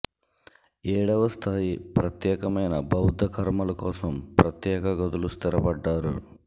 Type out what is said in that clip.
ఏడవ స్థాయి ప్రత్యేకమైన బౌద్ధ కర్మలు కోసం ప్రత్యేక గదులు స్థిరపడ్డారు